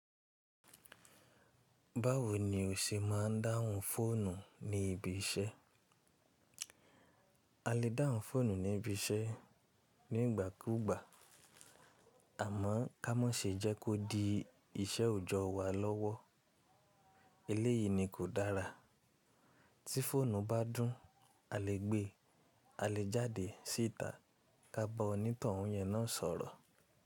Báwo ni o ṣe máa ń dáhùn fóònù ní ibi iṣẹ́? A lè dáhùn fóònù ní ibi iṣẹ́ nígbàkúgbà àmọ́ ká mọ́ se jẹ́ kó di iṣẹ́ òojọ́ wa lọ́wọ́. Eléyìí ni kò dára. Tí fóònù bá dún, a lè gbé a lè jáde síta ká ba onítọ̀hún yẹn náà sọ̀rọ̀.